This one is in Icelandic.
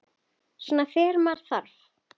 Svona þegar með þarf.